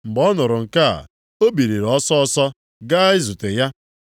Mgbe ọ nụrụ nke a, ọ biliri ọsịịsọ ga zute ya.